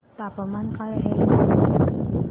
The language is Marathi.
तापमान काय आहे लखनौ चे